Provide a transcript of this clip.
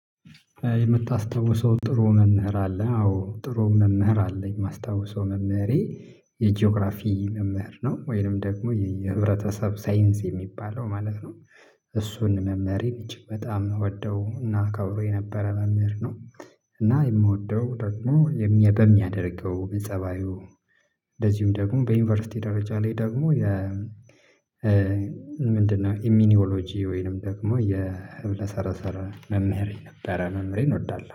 የምታስታውሰው ጥሩ መምህር አለ አዎ ጥሩ መምህር አለኝ የማስታውሰው መምህሬ የጂኦግራፊ መምህር ነው ወይንም ደግሞ የህብረተሰብ ሳይንስ የሚባለው ማለት ነው። እሱን መምህር እጅግ በጣም የምወደው እና አከብረው የነበረ መምህር ነው። እና የምወደው ደግሞ የሚያደ በሚያደርገው በጸባዩ እንደዚሁም ደግሞ በዩኒቨርሲቲ ደረጃ ላይ ደግሞ። ምንድነው? ኢሚኒዮሎጂ ወይንም ደግሞ የህብለሰረሰረ መምህር ነበረ መምህሬን እወዳለሁ